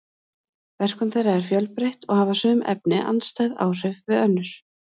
verkun þeirra er fjölbreytt og hafa sum efnin andstæð áhrif við önnur